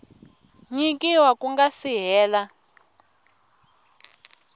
nyikiwa ku nga si hela